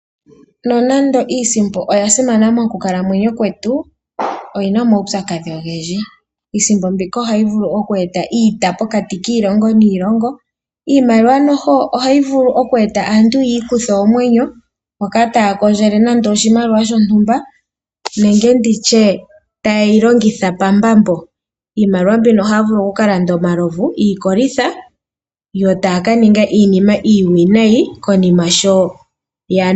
Nonando iisimpo oya simana mokukalamweyo kwetu, oyi na omaupyakadhi ogendji. Iisimpo mbika ohayi vulu oku eta iiya pokati kiilongo niilongo. Iimaliwa noho ohayi vulu oku eta aantu ya ikuthe oomwenyo, moka taya komdjele nande oshimaliwa shontumba nenge nditye taye yi longitha pambambo. Iimaliwa mbino ohaya vulu oku ka landa omalovu/iikolitha, yo taya ka ninga iinima iiwinayi konima sho ya nu.